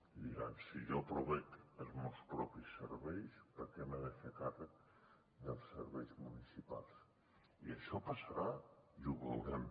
i diran si jo proveeixo els meus propis serveis per què m’he de fer càrrec dels serveis municipals i això passarà i ho veurem